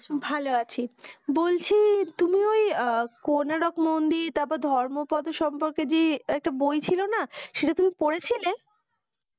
ভালো আছি বলছি তুমি ওই কোনারক মন্দির তারপর ধর্মপত্র সম্পর্কে যে একটা বই ছিল না সেটা তুমি পড়েছিলে